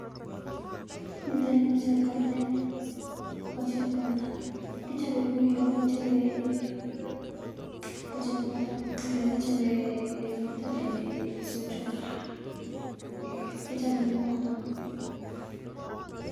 Niiton ni ko chepkartet ko chepkarta, kichobee kouyon kichobee ko chepkarta kouyon kichobee kichobee sojot, eeh kichobe kounoton.